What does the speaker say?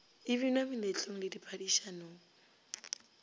e binwa meletlong le diphadišanong